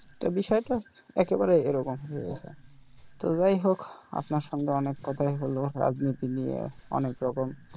তো বিষয় টা একেবারে এরকম যে তো যাই হোক আপনার সঙ্গে অনেক কথাই হল রাজনীতি নিয়ে অনেক রকম,